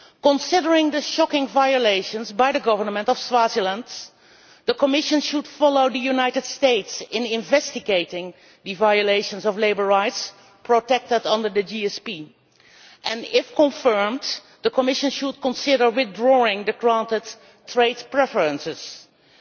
Considering the shocking violations by the government of Swaziland, the Commission should follow the United States in investigating the violations of labour rights, protected under the GSP, and if confirmed, the Commission should consider withdrawing the trade preferences granted.